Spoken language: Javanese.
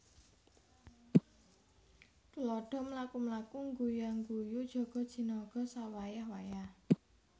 Tuladha mlaku mlaku ngguya ngguyu jaga jinaga sawayah wayah